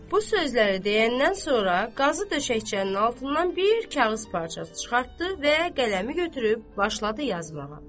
Bu sözləri deyəndən sonra qazı döşəkçənin altından bir kağız parçası çıxartdı və qələmi götürüb başladı yazmağa.